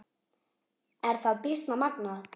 Er það býsna magnað.